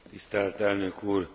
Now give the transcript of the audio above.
Tisztelt Elnök úr!